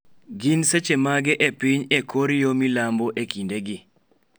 Gin seche mage e piny e kor yo milambo e kindegi